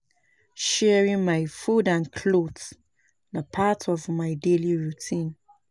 Sharing my food and clothes na part of my daily routine.